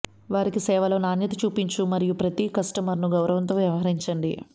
వారికి సేవలో నాణ్యత చూపించు మరియు ప్రతి కస్టమర్ను గౌరవంతో వ్యవహరించండి